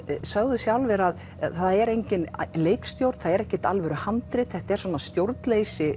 sögðu sjálfir að það er engin leikstjórn það er ekkert alvöruhandrit þetta er stjórnleysi